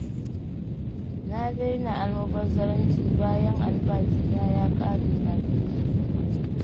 Na daina almubazzaranci, bayan albashina ya ƙare kafin ƙarshen wata.